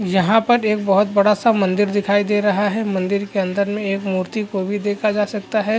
यहाँ पर एक बहुत बड़ा सा मंदिर दिखाई दे रहा है मंदिर के अंदर में एक मूर्ति को भी देखा जा सकता है।